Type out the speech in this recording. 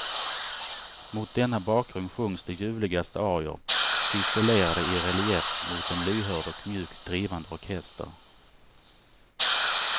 Mot denna bakgrund sjungs de ljuvligaste arior, ciselerade i relief mot en lyhörd och mjukt drivande orkester.